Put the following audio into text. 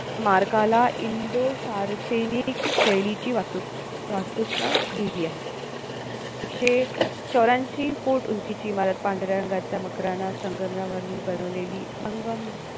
स्मारकाला इंडो फारसैनिक शैलीची वाहतूक वाहतुकता दिली आहे एकशे चौर्यांशी foot उंचीची इमारत पांढऱ्या रंगाचा मकराना संगमरावरून बनवलेली संगम